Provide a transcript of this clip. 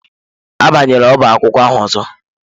Abanyela ọbá akwụkwọ ahụ ọzọ!